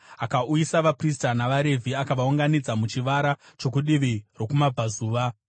Akauyisa vaprista navaRevhi akavaunganidza muchivara chokudivi rokumabvazuva.